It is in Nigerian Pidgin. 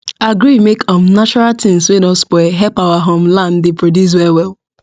agree make um natural things wey don spoil help our um land dey produce well well